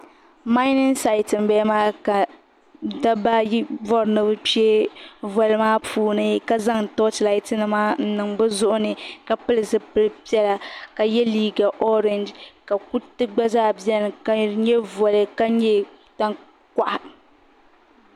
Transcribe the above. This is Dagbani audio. salima gbʋ shee n bala maa ka daba ayi bori ni bi kpɛ voli maa pʋni ka zaŋ lati nima n niŋ bi zʋɣ'ni ka pili ʒɛpilpiɛla ka ya sutira vakahili ka kuti gba zaa bɛni ka di nya vʋli ka nyɛ tan kʋɣ'